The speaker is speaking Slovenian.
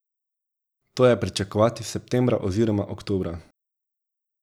To je pričakovati septembra oziroma oktobra.